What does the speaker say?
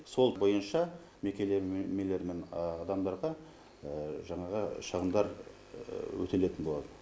сол бойынша мекемелер мен адамдарға жаңағы шығындар өтелетін болады